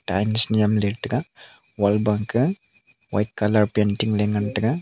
tiles nyemley taga wall wa kah white colour painting ley ngantaga.